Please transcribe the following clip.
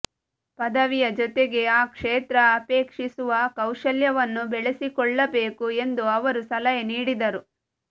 ಪದವಿಯ ಜೊತೆಗೆ ಆ ಕ್ಷೇತ್ರ ಅಪೇಕ್ಷಿಸುವ ಕೌಶಲ್ಯವನ್ನೂ ಬೆಳೆಸಿಕೊಳ್ಳಬೇಕು ಎಂದು ಅವರು ಸಲಹೆ ನೀಡಿದರು